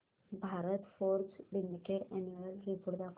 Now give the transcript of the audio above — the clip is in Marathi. Bharat forge limited annual report दाखव